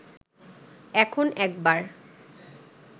এখন একবার